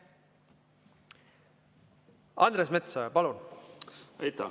Andres Metsoja, palun!